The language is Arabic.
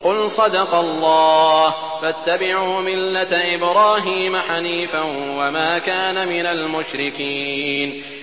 قُلْ صَدَقَ اللَّهُ ۗ فَاتَّبِعُوا مِلَّةَ إِبْرَاهِيمَ حَنِيفًا وَمَا كَانَ مِنَ الْمُشْرِكِينَ